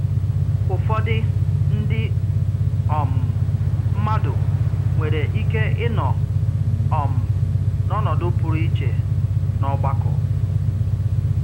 Ụ́fọ̀dị̀ ndị um mmadụ nwèrè ike ịnọ um n’ọnọdụ pùrụ̀ ìchè n’ọ̀gbàkọ